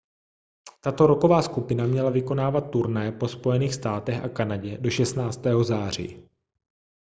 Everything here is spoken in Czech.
tato rocková skupina měla vykonávat turné po spojených státech a kanadě do 16. září